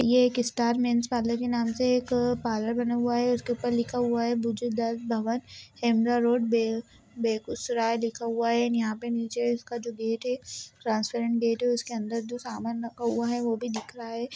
ये एक star men's parlour के नाम से एक पार्लर बना हुआ है इसके ऊपर लिखा हुआ है बैजु दास भवन हेमरा रोड बे बेगूसराय लिखा हुआ है। यहाँ पे नीचे इसका जो गेट है ट्रांसपेरेंट गेट है उसके अंदर जो सामान रखा हुआ है वो भी देख रहा है।